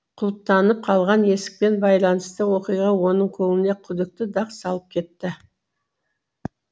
құлыптанып қалған есікпен байланысты оқиға оның көңіліне күдікті дақ салып кетті